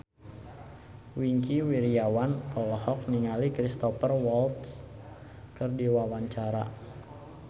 Wingky Wiryawan olohok ningali Cristhoper Waltz keur diwawancara